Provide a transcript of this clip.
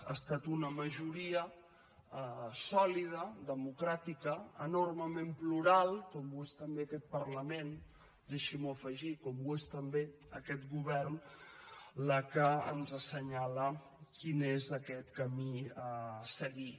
ha estat una majoria sòlida democràtica enormement plural com ho és també aquest parlament deixi’m ho afegir com ho és també aquest govern la que ens assenyala quin és aquest camí a seguir